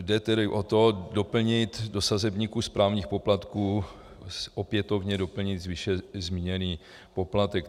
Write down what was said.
Jde tedy o to doplnit do sazebníku správních poplatků, opětovně doplnit, výše zmíněný poplatek.